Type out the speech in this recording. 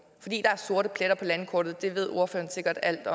fordi der er sorte pletter på landkortet det ved ordføreren sikkert alt